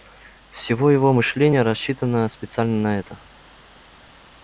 всего его мышление рассчитано специально на это